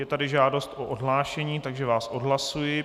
Je tady žádost o odhlášení, takže vás odhlašuji.